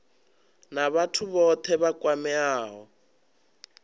na vhathu vhothe vha kwameaho